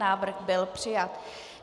Návrh byl přijat.